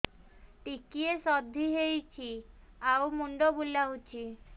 ଟିକିଏ ସର୍ଦ୍ଦି ହେଇଚି ଆଉ ମୁଣ୍ଡ ବୁଲାଉଛି